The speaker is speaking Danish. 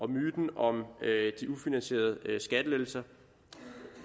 myten om de ufinansierede skattelettelser